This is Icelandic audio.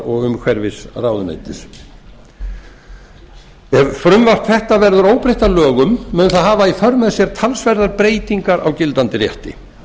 og umhverfisráðuneyti ef frumvarp þetta verður óbreytt að lögum mun það hafa í för með sér talsverðar helstu breytingar á gildandi rétti